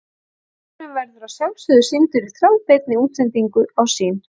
Leikurinn verður að sjálfsögðu sýndur í þráðbeinni útsendingu á Sýn.